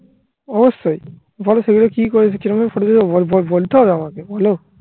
অবশ্যই বলো সেগুলো কি করেছি আমি photo তুলবো বলতে হবে আমাকে বলো